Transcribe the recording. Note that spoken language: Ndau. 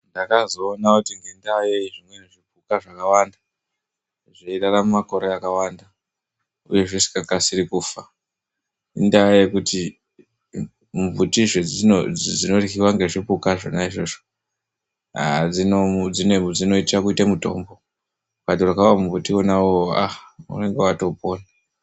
Ndakazoona kuti ngendaa yei zvimwe zvimwe zvipuka zvakawanda zveirarama makore akawanda uye zvizikakasiri kufa indaa yekuti mimbuti dzinoryiwa ngezvipuka zvona izvozvo dzinoite kuite mitombo kungoita iwona iwowo aaa unenge watopona.